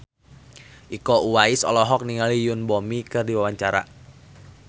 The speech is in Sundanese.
Iko Uwais olohok ningali Yoon Bomi keur diwawancara